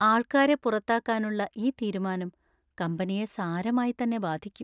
ആൾക്കാരെ പുറത്താക്കാനുള്ള ഈ തീരുമാനം കമ്പനിയെ സാരമായി തന്നെ ബാധിക്കും.